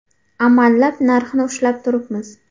Amallab narxni ushlab turibmiz.